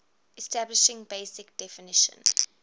establishing basic definition